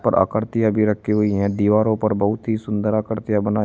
आकृति अभी रखी हुई है दीवारों पर बहुत ही सुंदर आकृतियां बनाई--